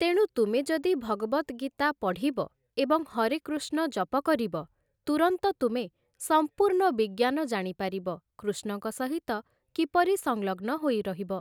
ତେଣୁ ତୁମେ ଯଦି ଭଗବଦ୍ ଗୀତା ପଢ଼ିବ ଏବଂ ହରେ କୃଷ୍ଣ ଜପ କରିବ ତୂରନ୍ତ ତୁମେ ସମ୍ପୂର୍ଣ୍ଣ ବିଜ୍ଞାନ ଜାଣିପାରିବ କୃଷ୍ଣଙ୍କ ସହିତ କିପରି ସଂଲଗ୍ନ ହୋଇ ରହିବ ।